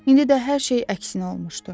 İndi də hər şey əksinə olmuşdu.